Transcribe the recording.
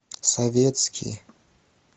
советский